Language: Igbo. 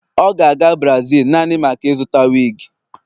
ọ ga-aga Brazil naanị maka ịzụta wig